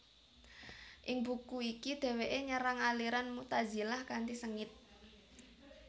Ing buku iki dheweke nyerang aliran Mu tazilah kanthi sengit